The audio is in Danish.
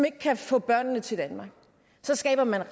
ikke kan få børnene til danmark så skaber man